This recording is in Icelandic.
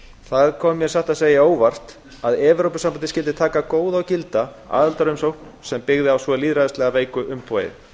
það kom mér satt að segja á óvart að evrópusambandið skyldi taka góða og gilda aðildarumsókn sem byggði á svo lýðræðislega veiku umboði